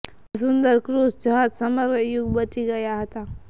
આ સુંદર ક્રુઝ જહાજ સમગ્ર યુગ બચી ગયા હતા